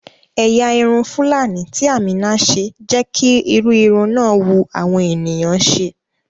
Ẹ̀yà irun fúlàní tí Àmíná ṣe jẹ́ kí irú irun náà wu àwọn ènìyàn ṣe